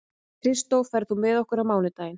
Kristó, ferð þú með okkur á mánudaginn?